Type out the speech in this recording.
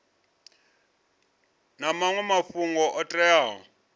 na maṅwe mafhungo o teaho